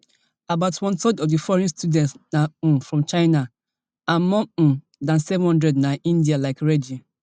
about one third of di foreign students na um from china and more um dan seven hundred na indian like reddy